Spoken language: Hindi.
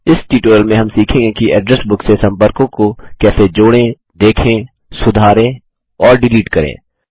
इस ट्यूटोरियल में हम सीखेंगे कि एड्रेस बुक से सम्पर्कों को कैसे देखें जोड़ें सुधारें और डिलीट करें